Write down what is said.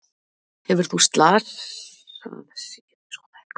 Hefur þú slasað sig við svona innkast?